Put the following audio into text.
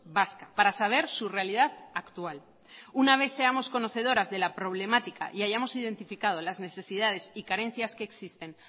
vasca para saber su realidad actual una vez seamos conocedoras de la problemática y hayamos identificado las necesidades y carencias que existen